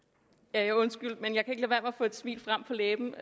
ja undskyld men jeg kan med at få et smil frem på læben